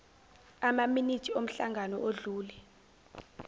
amaminithi omhlangano odlule